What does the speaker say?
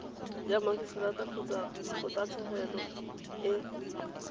ya magiseterata kgotsa kgotlatshekelo e